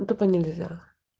тупо нельзя